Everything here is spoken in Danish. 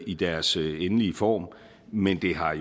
i deres endelige form men det har